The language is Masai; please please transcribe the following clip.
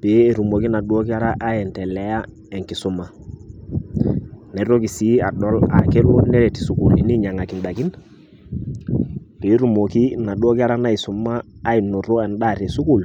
pee etumoki inaduo kera aendelea enkisuma naitoki sii adol aa kelo neret isukulini ainyiang'aki indaikin peetumoki inaduo kera naisuma ainoto endaa tesukul.